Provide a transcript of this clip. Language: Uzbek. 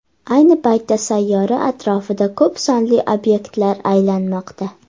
Ayni paytda sayyora atrofida ko‘p sonli obyektlar aylanmoqda.